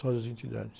Só das entidades.